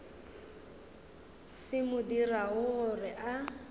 se mo dirago gore a